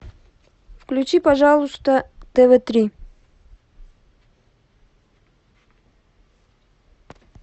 включи пожалуйста тв три